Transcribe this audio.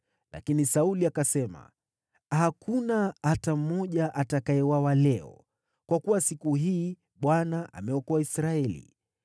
Lakini Sauli akasema, “Hakuna hata mmoja atakayeuawa leo, kwa kuwa siku hii Bwana ameokoa Israeli.”